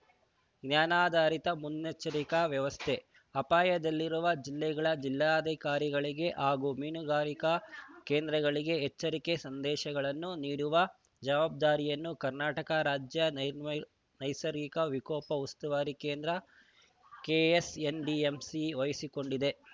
ಜ್ಞಾನಾಧಾರಿತ ಮುನ್ನೆಚ್ಚರಿಕೆ ವ್ಯವಸ್ಥೆ ಅಪಾಯದಲ್ಲಿರುವ ಜಿಲ್ಲೆಗಳ ಜಿಲ್ಲಾಧಿಕಾರಿಗಳಿಗೆ ಹಾಗೂ ಮೀನುಗಾರಿಕಾ ಕೇಂದ್ರಗಳಿಗೆ ಎಚ್ಚರಿಕೆ ಸಂದೇಶಗಳನ್ನು ನೀಡುವ ಜವಾಬ್ದಾರಿಯನ್ನು ಕರ್ನಾಟಕ ರಾಜ್ಯ ನೈರ್ಮೈಲ್ ನೈಸರ್ಗಿಕ ವಿಕೋಪ ಉಸ್ತುವಾರಿ ಕೇಂದ್ರ ಕೆಎಸ್‌ಎನ್‌ಡಿಎಂಸಿ ವಹಿಸಿಕೊಂಡಿದೆ